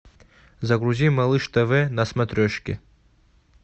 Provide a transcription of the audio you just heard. загрузи малыш тв на смотрешке